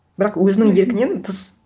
бірақ өзінің еркінен тыс